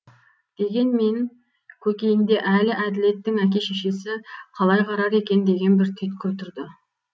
дегенмен көкейінде әлі әділеттің әке шешесі қалай қарар екен деген бір түйткіл тұрды